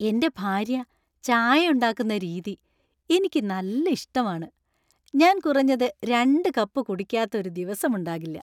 എന്‍റെ ഭാര്യ ചായ ഉണ്ടാക്കുന്ന രീതി എനിക്ക് നല്ല ഇഷ്ടമാണ് , ഞാൻ കുറഞ്ഞത് രണ്ട് കപ്പ് കുടിക്കാത്ത ഒരു ദിവസം ഉണ്ടാകില്ല.